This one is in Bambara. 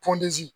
Pɔndenzi